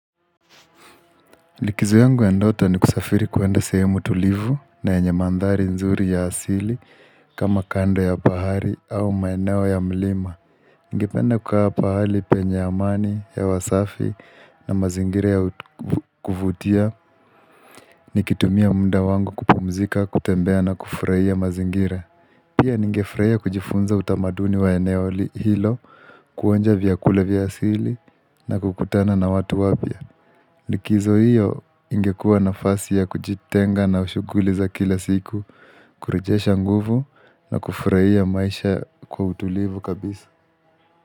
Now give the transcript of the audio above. Likizo yangu ya ndoto ni kusafiri kuenda sehemu tulivu na yenye mandhari nzuri ya asili kama kando ya bahari au maeneo ya mlima. Ningependa kukaa pahali penye amani ya wasafi na mazingira ya kuvutia nikitumia mda wangu kupumzika, kutembea na kufurahia mazingira. Pia ningefurahia kujifunza utamaduni wa eneo hilo kuonja vyakula vya asili na kukutana na watu wapya. Likizo hiyo ingekua nafasi ya kujitenga na shughuli za kila siku, kurejesha nguvu na kufurahia maisha kwa utulivu kabisa.